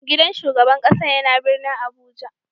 Gidan shugaban kasan ya na birnin Abuja.